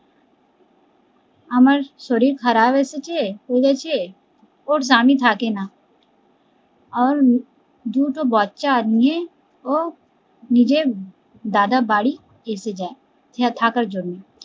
আমার শরীর খারাপ এসেছে করেছে ওর স্বামী থাকে না আর দুটো বাচ্চা নিয়েই ও নিজের দাদা বাড়ি এসে যায় ইহা থাকার জন্য